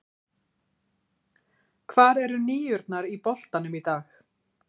Hvar eru níurnar í boltanum í dag?